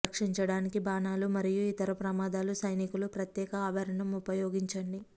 రక్షించడానికి బాణాలు మరియు ఇతర ప్రమాదాలు సైనికులు ప్రత్యేక ఆభరణం ఉపయోగించండి